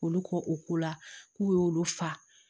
Olu kɔ u ko la k'u y'olu fa